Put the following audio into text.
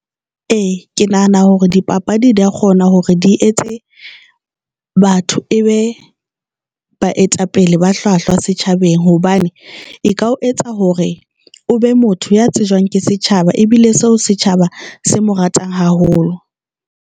E ke nahana hore dipapadi di kgona hore di etse batho, e be baetapele ba hlwahlwa setjhabeng hobane e ka o etsa hore o be motho ya tsejwang ke setjhaba ebile seo setjhaba se mo ratang haholo.